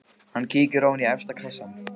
Hann kíkir ofan í efsta kassann.